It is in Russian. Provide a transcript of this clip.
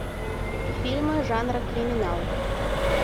фильмы жанра криминал